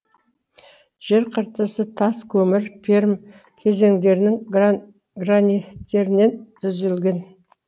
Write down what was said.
жер қыртысы тас көмір пермь кезеңдерінің граниттерінен түзілген